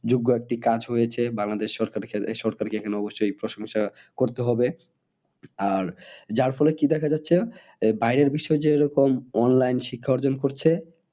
যোগ্য একটি কাজ হয়েছে বাংলাদেশ সরকারকে, সরকারকে অবশ্যই এই প্রশ্নটা করতে হবে আর যার ফলে কি দেখা যাচ্ছে। যে বাইরের বিশ্বেও যে এরকম online শিক্ষা অর্জন করছে